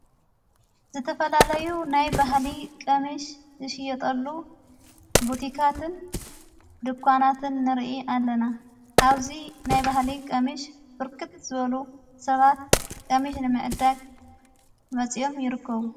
ዝተፈላለዩ ናይ ባህሊ ቀሚሽ ዝሽየጠሉ ብቲካትን ድኳናትን ንርኢ ኣለና ኣውዙይ ናይ ባህሊ ቀሚሽ ፍርክት ዝበሉ ሰባት ቀሚሽ ንመእዳግ መጺኦም ይርክቡ።